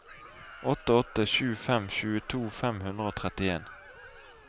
åtte åtte sju fem tjueto fem hundre og trettien